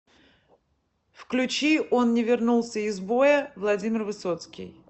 включи он не вернулся из боя владимир высоцкий